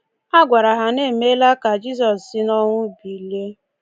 A gwara ha na e meela ka Jizọs si n’ọnwụ bilie!